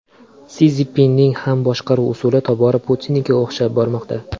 Si Szinpinning ham boshqaruv usuli tobora Putinnikiga o‘xshab bormoqda.